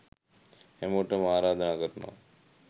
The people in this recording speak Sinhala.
හැමෝටම ආරාධනා කරනවා